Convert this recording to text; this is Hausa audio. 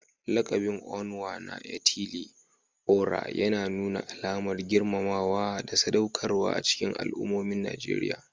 Lakabin Onwa-na-etili-ora yana nuna alamar girmamawa da sadaukarwa a cikin al'ummomin Najeriya.